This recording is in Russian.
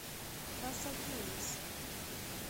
пасакемис